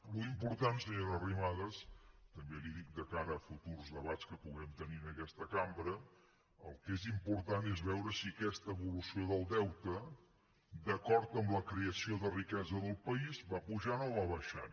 l’important senyora arrimadas també li ho dic de cara a futurs debats que puguem tenir en aquesta cambra el que és important és veure si aquesta evolució del deute d’acord amb la creació de riquesa del país va pujant o va baixant